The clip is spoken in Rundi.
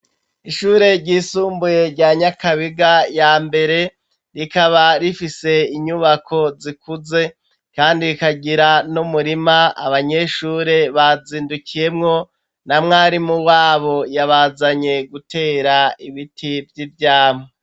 Ishure ryisumbuye, rya Nyakabiga ya mbere, rikaba rifise, inyubako zikuze, kandi rikagira n'umurima; abanyeshuri bazindukiyemwo, na mwarimu wabo, yabazanye gutera ibiti, vy'ivyamwa.